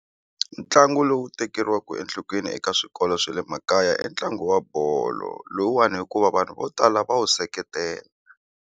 Ntlangu lowu tekeriwaka enhlokweni eka swikolo swa le makaya i ntlangu wa bolo lowuwani hikuva vanhu vo tala va wu seketela.